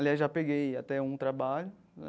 Aliás, já peguei até um trabalho.